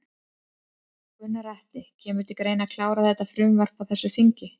Gunnar Atli: Kemur til greina að klára þetta frumvarp á þessu þingi?